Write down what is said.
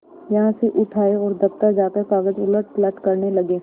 यहाँ से उठ आये और दफ्तर जाकर कागज उलटपलट करने लगे